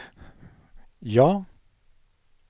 ja